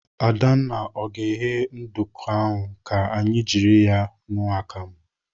Adanna, ọ ga-eghe nduku ka anyị jiri ṅụọ akam?